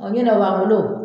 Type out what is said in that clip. Ɔgi nɔ b'an bolo